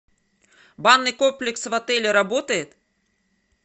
банный комплекс в отеле работает